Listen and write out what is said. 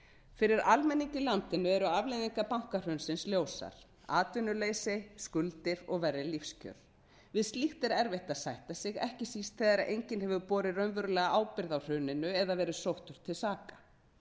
fyrir almenning í landinu eru afleiðingar bankahrunsins ljósar atvinnuleysi skuldir og verri lífskjör við slíkt er erfitt að sætta sig ekki síst þegar enginn hefur borið raunverulega ábyrgð á hruninu eða verið sóttur til saka